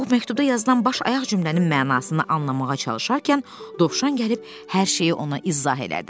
Pux məktubda yazılan baş-ayaq cümlənin mənasını anlamağa çalışarkən dovşan gəlib hər şeyi ona izah elədi.